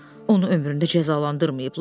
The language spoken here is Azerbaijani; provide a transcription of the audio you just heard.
Onu ömründə cəzalandırmayıblar.